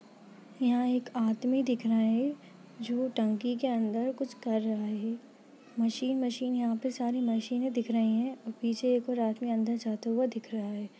यहाँ एक आदमी दिख रहा है जो टंकी के अंदर कुछ कर रहा है मशीन मशीन यहाँ पर सारे मशीने दिख रही है और पिछे एक और आदमी अंदर जाते हुआ दिख रहा है।